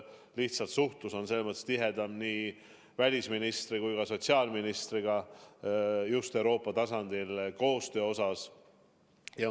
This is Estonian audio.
Lihtsalt suhtlus on tihedam nii välisministri kui ka sotsiaalministriga just Euroopa tasandil tehtava koostöö osas.